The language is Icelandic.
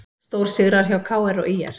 Stórsigrar hjá KR og ÍR